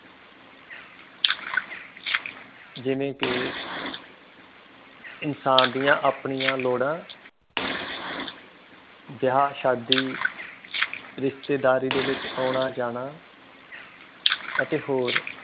ਜਿਵੇਂ ਕਿ ਇਨਸਾਨ ਦੀਆਂ ਆਪਣੀਆਂ ਲੋੜਾਂ ਵਿਆਹ ਸ਼ਾਦੀ ਰਿਸ਼ਤੇਦਾਰੀ ਦੇ ਵਿਚ ਆਉਣਾ ਜਾਣਾ ਅਤੇ ਹੋਰ